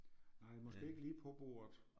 Nej måske ikke lige på bordet